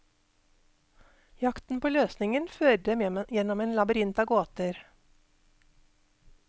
Jakten på løsningen fører dem gjennom en labyrint av gåter.